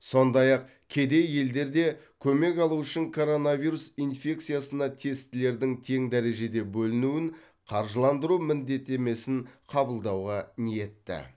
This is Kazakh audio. сондай ақ кедей елдер де көмек алуы үшін коронавирус инфекциясына тестілердің тең дәрежеде бөлінуін қаржыландыру міндеттемесін қабылдауға ниетті